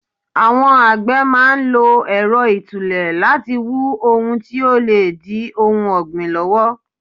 Àwọn àgbè máa ń lo Ẹ̀rọ itule láti wu ohun tí ó lè di ohun ọgbin lọ́wọ́.